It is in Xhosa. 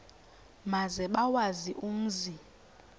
maze bawazi umzi